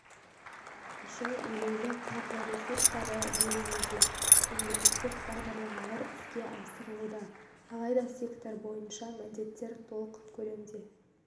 үшін елеулі қаржы ресурстары бөлінуде мемлекеттік бағдарламалар іске асырылуда алайда сектор бойынша міндеттер толық көлемде